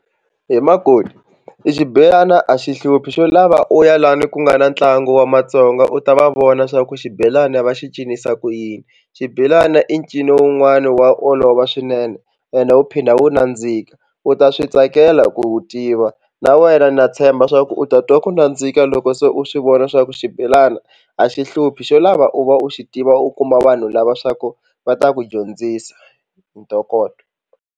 He makoti i xibelana a xi hluphi xo lava u ya lani ku nga na ntlangu wa matsonga u ta va vona swa ku xibelani va xi cinisa ku yini. Xibelana i ncino wun'wani wa olova swinene ende wu phinda wu nandzika u ta swi tsakela ku wu tiva na wena na tshemba swa ku u ta twa ku nandzika loko se u swi vona swa ku xibelana a xi hluphi xo lava u va u xi tiva u kuma vanhu lava swa ku va ta ku dyondzisa hi ntokoto.